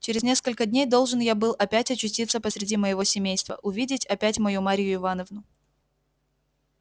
через несколько дней должен я был опять очутиться посреди моего семейства увидеть опять мою марью ивановну